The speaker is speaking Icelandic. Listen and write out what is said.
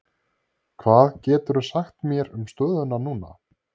Hvað geturðu sagt mér um stöðuna núna?